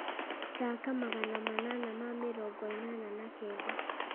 thaaka magana manana ma mĩrongo ĩnana na kenda